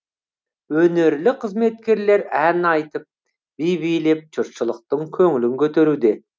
өнерлі қызметкерлер ән айтып би билеп жұртшылықтың көңілін көтеруде